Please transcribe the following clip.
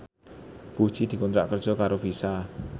Puji dikontrak kerja karo Visa